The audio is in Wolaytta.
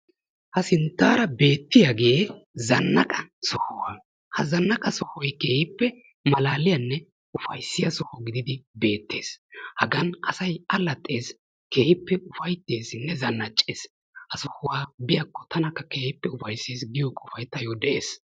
Ha sinttaara beettiyagee zanaqqa sohuwa. ha zanaqqa sohoy keehippe malaaliyanne ufayissiya soho gididi beettes. Hagan asay allaxxes keehippe ufayittesinne zannacces. ha sohuwa biyakko tanakka keehippe ufayises giya qofay tayo de'ees.